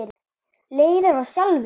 Leiðir af sjálfu sér!